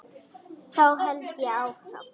Þá held ég áfram.